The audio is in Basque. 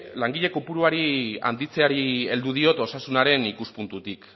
langile kopurua handitzeari heldu diot osasunaren ikuspuntutik